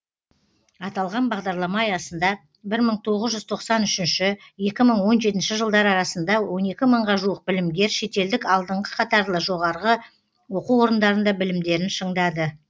аталған бағдарлама аясында бір мың тоғыз жүз тоқсан үшінші екі мың он жетінші жылдар арасында он екі мыңға жуық білімгер шетелдік алдыңғы қатарлы жоғарғы оқу орындарында білімдерін шыңдады